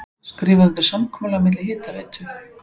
Skrifað undir samkomulag milli Hitaveitu